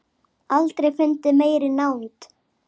Aldrei fundið meiri nánd.